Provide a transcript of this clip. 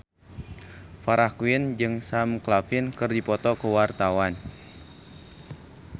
Farah Quinn jeung Sam Claflin keur dipoto ku wartawan